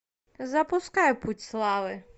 запускай путь славы